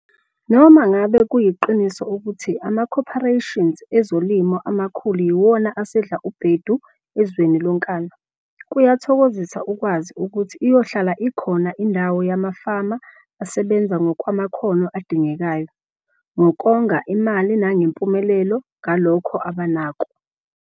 Noma ngabe kuyiqiniso ukuthi amacorporations ezolimo amakhulu yiwona asedla ubhedu ezweni lonkana, kuyathokozisa ukwazi ukuthi iyohlala ikhona indawo yamafama asebenza ngokwamakhono adingekayo, ngokonga imali nangempumelelo ngalokho abanako.